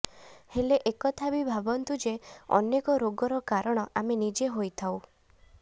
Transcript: ହେଲେ ଏକଥା ବି ଭାବନ୍ତୁ ଯେ ଅନେକ ରୋଗର କାରଣ ଆମେ ନିଜେ ହୋଇଥାଉ